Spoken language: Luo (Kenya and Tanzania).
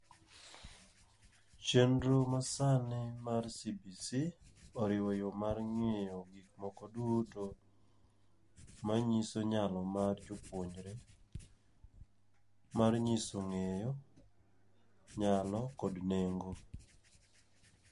Chendro ma sani mar CBC, oriwo yo mar ng'iyo gik moko duto. Ma nyiso nyalo mar jopuonjre, mal nyiso ng'eyo, nyalo kod nengo.